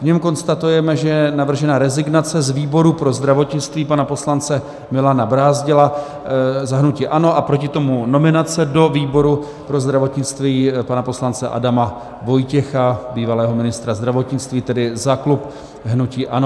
V něm konstatujeme, že je navržena rezignace z výboru pro zdravotnictví pana poslance Milana Brázdila za hnutí ANO a proti tomu nominace do výboru pro zdravotnictví pana poslance Adama Vojtěcha, bývalého ministra zdravotnictví, tedy za klub hnutí ANO.